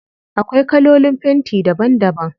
Akwai kalolin fenti daban daban.